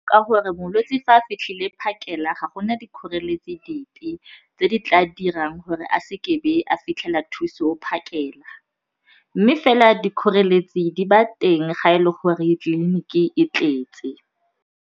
Ka gore molwetse fa a fitlhile phakela ga go na dikgoreletsi dipe tse di tla dirang gore a se ke a be a fitlhela thuso phakela mme fela dikgoreletsi di ba teng ga e le gore tleliniki e tletse.